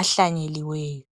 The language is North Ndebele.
ahlanyeliweyo.